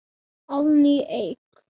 Árný Eik.